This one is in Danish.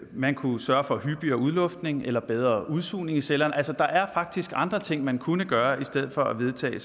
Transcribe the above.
man kunne sørge for hyppigere udluftning eller bedre udsugning i cellerne der er faktisk andre ting man kunne gøre i stedet for at vedtage